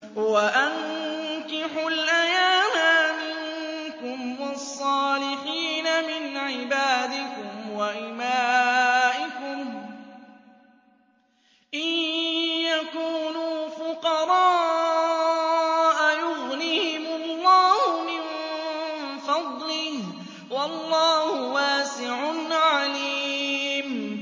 وَأَنكِحُوا الْأَيَامَىٰ مِنكُمْ وَالصَّالِحِينَ مِنْ عِبَادِكُمْ وَإِمَائِكُمْ ۚ إِن يَكُونُوا فُقَرَاءَ يُغْنِهِمُ اللَّهُ مِن فَضْلِهِ ۗ وَاللَّهُ وَاسِعٌ عَلِيمٌ